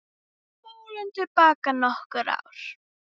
Spólum til baka nokkur ár.